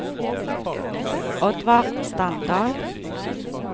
Oddvar Standal